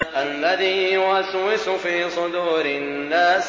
الَّذِي يُوَسْوِسُ فِي صُدُورِ النَّاسِ